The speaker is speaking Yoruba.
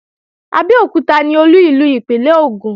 Abẹ́òkúta ni Olú ìlú ìpínlè Ògùn